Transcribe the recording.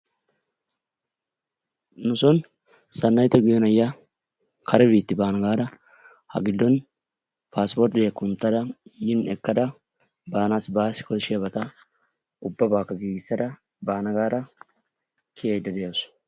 Nu son Sanayitto giyo na'iya kare biitti baana gaada ha giddon passporttiya kunttada yiin ekkada baanassi baassi koshshiyabata ubaabaakka giggissada baana gaada kiyayda de'awusu.